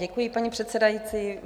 Děkuji, paní předsedající.